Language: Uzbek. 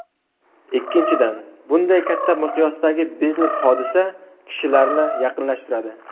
Ikkinchidan, bunday katta miqyosdagi biznes-hodisa kishilarni yaqinlashtiradi!